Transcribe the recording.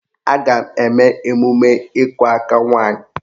A ga-eme emume ịkụ aka nwaanyị